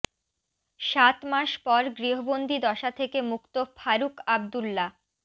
সাত মাস পর গৃহবন্দি দশা থেকে মুক্ত ফারুক আবদুল্লা